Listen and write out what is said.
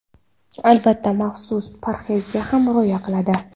Albatta, maxsus parhezga ham rioya qiladi.